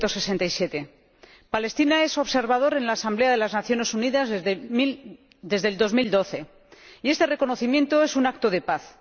1967. Palestina es observador en la Asamblea de las Naciones Unidas desde 2012 y este reconocimiento es un acto de paz.